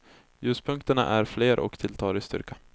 Ljuspunkterna är fler och tilltar i styrka.